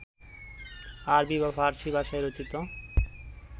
আরবি বা ফারসী ভাষায় রচিত